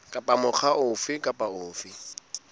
kapa mokga ofe kapa ofe